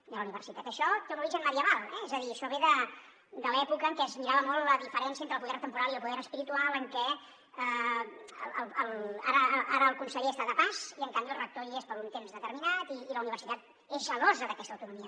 i a la universitat això té un origen medieval eh és a dir això ve de l’època en què es mirava molt la diferència entre el poder temporal i el poder espiritual en què ara el conseller està de pas i en canvi el rector hi és per un temps determinat i la universitat és gelosa d’aquesta autonomia